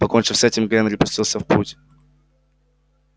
покончив с этим генри пустился в путь